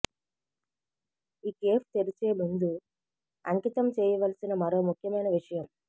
ఈ కేఫ్ తెరిచే ముందు అంకితం చేయవలసిన మరో ముఖ్యమైన విషయం